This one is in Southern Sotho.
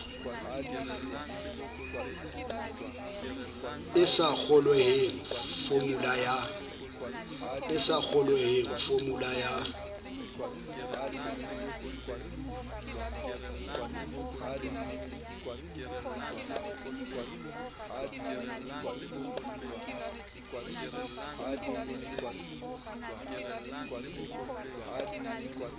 e sa kgolweheng fomula ya